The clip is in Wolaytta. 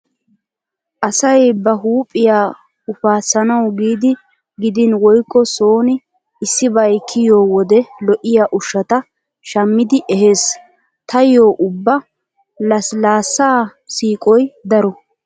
Asay ba huuphiya ufassanawu giidi gidin woykko sooni issibay kiyiyo wode lo'iya ushshata shammidi ehees. Taayyo ubba lasilaassaa siiqoy daro.